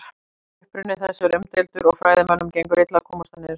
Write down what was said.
Uppruni þess er umdeildur og fræðimönnum gengur illa að komast að niðurstöðu.